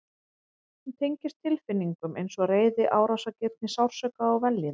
Hún tengist tilfinningum eins og reiði, árásargirni, sársauka og vellíðan.